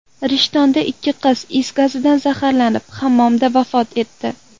Rishtonda ikki qiz is gazidan zaharlanib, hammomda vafot etdi .